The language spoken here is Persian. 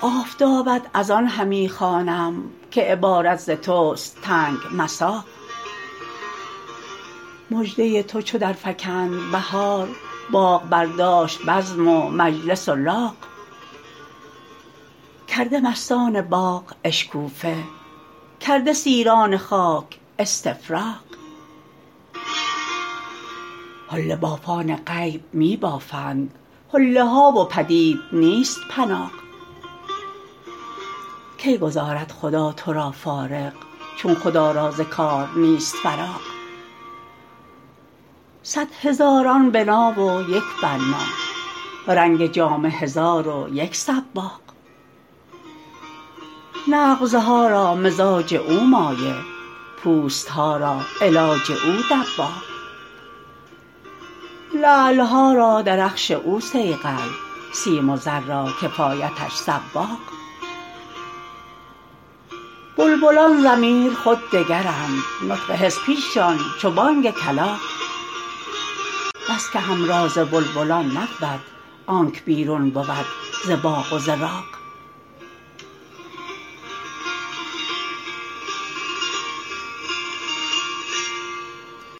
آفتابت از آن همی خوانم که عبارت ز تست تنگ مساغ مژده تو چو درفکند بهار باغ برداشت بزم و مجلس و لاغ کرده مستان باغ اشکوفه کرده سیران خاک استفراغ حله بافان غیب می بافند حله ها و پدید نیست پناغ کی گذارد خدا تو را فارغ چون خدا را ز کار نیست فراغ صد هزاران بنا و یک بنا رنگ جامه هزار و یک صباغ نغزها را مزاج او مایه پوست ها را علاج او دباغ لعل ها را درخش او صیقل سیم و زر را کفایتش صواغ بلبلان ضمیر خود دگرند نطق حس پیششان چو بانگ کلاغ بس که همراز بلبلان نبود آنک بیرون بود ز باغ و ز راغ